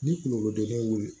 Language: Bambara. Ni kungolodimi wuli